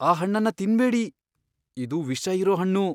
ಆ ಹಣ್ಣನ್ನ ತಿನ್ಬೇಡಿ. ಇದು ವಿಷ ಇರೋ ಹಣ್ಣು!